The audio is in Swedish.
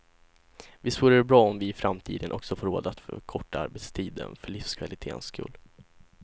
Visst vore det bra om vi i framtiden också får råd att förkorta arbetstiden, för livskvaliténs skull.